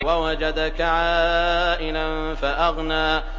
وَوَجَدَكَ عَائِلًا فَأَغْنَىٰ